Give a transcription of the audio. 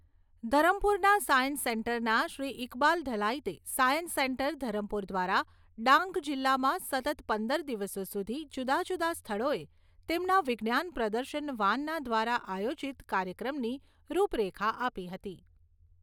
ધરમપુરના science સેન્ટરના શ્રી ઇકબાલ ઢલાઇતે science center Dharampur દ્વારા ડાંગ જિલ્લામાં સતત પંદર દિવસો સુધી જુદાજુદા સ્થળોએ તેમના વિજ્ઞાન પ્રદર્શન વાનના દ્વારા આયોજીત કાર્યક્રમની રૂપરેખા આપી હતી.